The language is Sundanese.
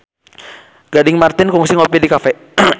Gading Marten kungsi ngopi di cafe